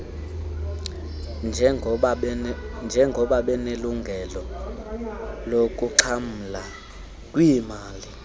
njengabanelungelo lokuxhamla kwiimali